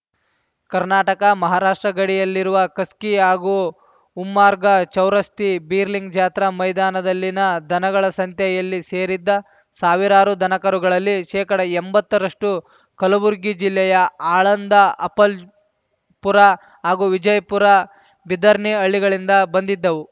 ಕರ್ನಾಟಕ ಮಹಾರಾಷ್ಟ್ರ ಗಡಿಯಲ್ಲಿರುವ ಖಸ್ಗಿ ಹಾಗೂ ಉಮ್ಮರ್ಗಾ ಚೌರಸ್ಥಿ ಬೀರಲಿಂಗ್‌ ಜಾತ್ರಾ ಮೈದಾನದಲ್ಲಿನ ದನಗಳ ಸಂತೆಯಲ್ಲಿ ಸೇರಿದ್ದ ಸಾವಿರಾರು ದನಕರುಗಳಲ್ಲಿ ಶೇಕಡ ಎಂಬತ್ತರಷ್ಟು ಕಲಬುರಗಿ ಜಿಲ್ಲೆಯ ಆಳಂದ ಅಪಲ್ಜ್ ಪುರ ಹಾಗೂ ವಿಜಯಪುರ ಬೀದರ್‌ನಿ ಹಳ್ಳಿಗಳಿಂದ ಬಂದಿದ್ದವು